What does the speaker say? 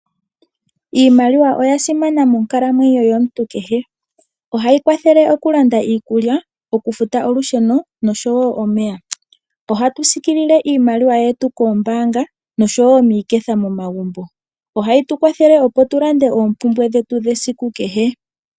Iimaliwa oyi li ya simana moonkalamwenyo yomuntu kehe. Oha yi kwathele oku landa iikulya, oku futa olusheno , nosho wo omeya. Ohatu siikilile iimaliwa yetu koombaanga, nosho wo miiketha momagumbo. Oha yi tu kwathele opo tu lande oompumbwe dhawo dhesiku kehe.